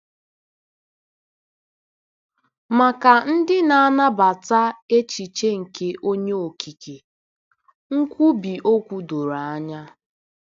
Maka ndị na-anabata echiche nke Onye Okike, nkwubi okwu doro anya.